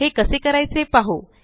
हे कसे करायचे पाहु